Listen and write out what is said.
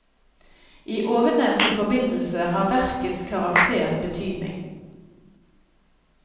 I ovennevnte forbindelse har verkets karakter betydning.